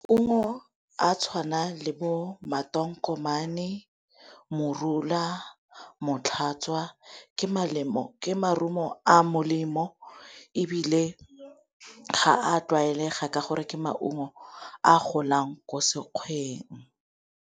Maungo a tshwana le bo matonkomane, morula, motlhatswa ke morumo a molemo ebile ga a tlwaelega ka gore ke maungo a golang ko sekgweng.